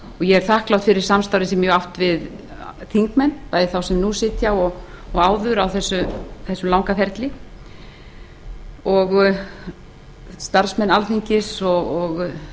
ég er þakklát fyrir samstarfið sem ég hef átt við þingmenn bæði þá sem nú sitja og áður á þessum langa ferli starfsmenn alþingis og